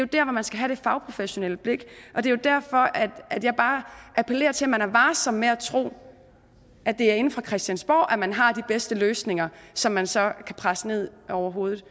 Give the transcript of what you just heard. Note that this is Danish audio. der hvor man skal have det fagprofessionelle blik og det er derfor at jeg bare appellerer til at man er varsom med at tro at det er inde på christiansborg man har de bedste løsninger som man så kan presse ned over hovedet